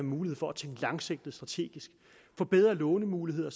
mulighed for at tænke langsigtet og strategisk få bedre lånemuligheder